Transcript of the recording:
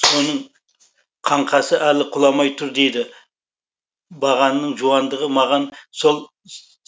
соның қаңқасы әлі құламай тұр дейді бағанның жуандығы маған сол